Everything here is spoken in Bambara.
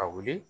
A wuli